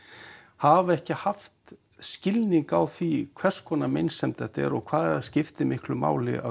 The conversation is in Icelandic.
hafa ekki haft skilning á því hvers konar meinsemd þetta er og hvað það skiptir miklu máli að